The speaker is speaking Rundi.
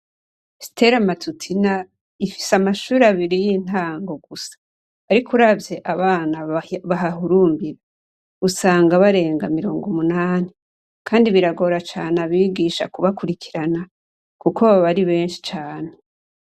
Stella Matutina ifise amashure abiri y'intango gusa ariko uravye abana bahahurumbira usanga barenga mirongo umunani kandi biragora cane abigisha kubakurikirana kuko baba ari benshi cane.